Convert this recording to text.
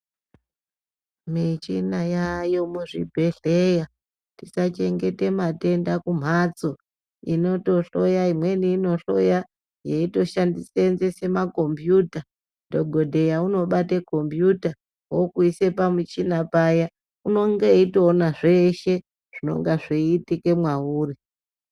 Michina yayo muzvibhedhera ,tisachengeta matenda kumhatso inoto hloya imweni inohloya yeitoshandise senzesa makombiyuta , dhokodheya unobate kombiyuta okuisa pamuchina paya unonga eitoona zveshe zvinonga zveiitika mwauri.